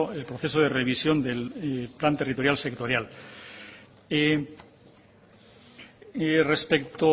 el proceso de revisión del plan territorial sectorial y respecto